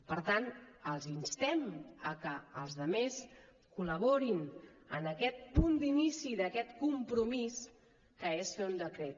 per tant els instem que els altres col·laborin en aquest punt d’inici d’aquest compromís que és fer un decret